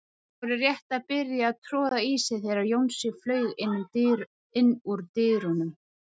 Þeir voru rétt að byrja að troða í sig þegar Jónsi flaug inn úr dyrunum.